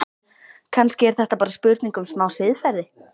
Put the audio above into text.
Kannski er þetta bara spurning um smá siðferði?